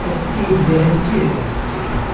একটি বেরেনঞ্চি দেকা যাচ্চে ।